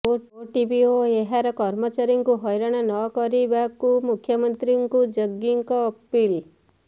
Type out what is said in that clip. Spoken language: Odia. ଓଟିଭି ଓ ଏହାର କର୍ମଚାରୀଙ୍କୁ ହଇରାଣ ନ କରିବାକୁ ମୁଖ୍ୟମନ୍ତ୍ରୀଙ୍କୁ ଜଗିଙ୍କ ଅପିଲ୍